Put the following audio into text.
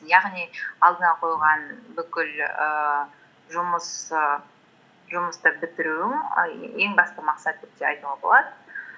яғни алдыңа қойылған бүкіл і і жұмысты бітіруің ең басты мақсат деп те айтуға болады